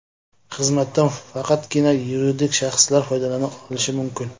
Xizmatdan faqatgina yuridik shaxslar foydalana olishi mumkin.